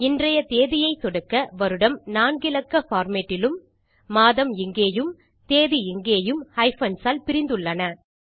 இன்றைய தேதியை சொடுக்க வருடம் 4 இலக்க பார்மேட் இலும் மாதம் இங்கேயும் தேதி இங்கேயும் ஹைபன்ஸ் ஆல் பிரிந்து உள்ளன